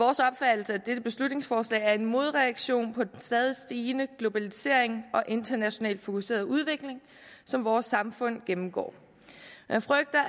det er beslutningsforslag er en modreaktion på den stadig stigende globalisering og internationalt fokuserede udvikling som vores samfund gennemgår man frygter